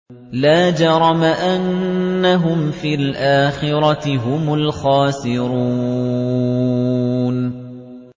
لَا جَرَمَ أَنَّهُمْ فِي الْآخِرَةِ هُمُ الْخَاسِرُونَ